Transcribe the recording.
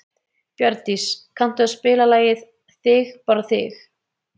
Bjarndís, kanntu að spila lagið „Þig bara þig“?